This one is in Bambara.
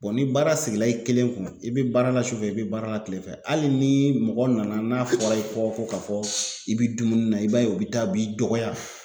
ni baara sigila i kelen kun i be baara la sufɛ i be baara la kile fɛ hali nii mɔgɔ nana n'a fɔra i kɔ ko ka fɔ i bi dumuni na i b'a ye o be taa o b'i dɔgɔya.